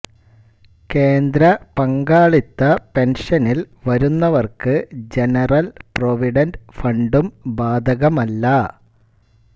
കേന്ദ്ര പങ്കാളിത്ത പെൻഷനിൽ വരുന്നവർക്ക് ജനറൽ പ്രോവിഡൻറ് ഫണ്ടും ബാധകമല്ല